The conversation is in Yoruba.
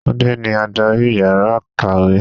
Túndé ní adárì ìyára ìkàwé.